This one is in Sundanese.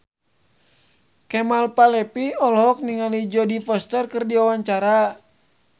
Kemal Palevi olohok ningali Jodie Foster keur diwawancara